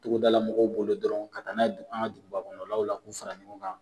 Togodala mɔgɔw bolo dɔrɔn ka na n'a ye duguba kɔnɔlaw la k'a fara ɲɔgɔn kan.